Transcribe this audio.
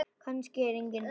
Kannski eru engin svör.